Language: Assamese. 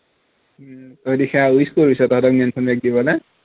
তই wish কৰিছ তহঁতক mention right দিবলে